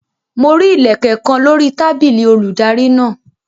Mo rí Ilẹ̀kẹ̀ kan lórí tábìlì olùdarí náà.